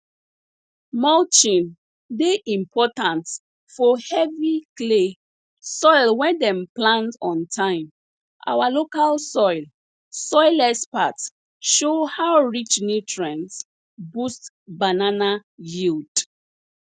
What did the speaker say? mulching dey important fo heavy clay soil wen dem plant on time our local soil soil experts show how rich nutrients boost banana yield